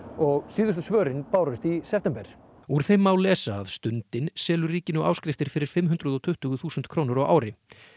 og síðustu svörin bárust í september úr þeim má lesa að Stundin selur ríkinu áskriftir fyrir fimm hundruð og tuttugu þúsund krónur á ári